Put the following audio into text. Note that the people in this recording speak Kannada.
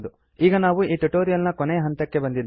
ಈಗ ನಾವು ಈ ಟ್ಯುಟೋರಿಯಲ್ ನ ಕೊನೆಯ ಹಂತಕ್ಕೆ ಬಂದಿದ್ದೇವೆ